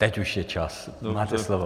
Teď už je čas, máte slovo.